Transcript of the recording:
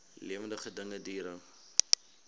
lewende dinge diere